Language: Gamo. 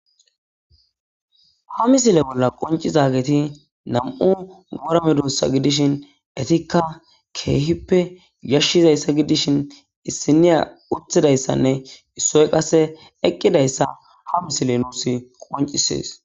Ha misile bola qoncizageti nam'u wora medosata gidishin etika kehipe yashizaysa gidishin issinoya uttidaysane issoy qase eqidaysa ha misiley qoncises